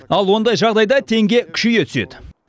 ал ондай жағдайда теңге күшейе түседі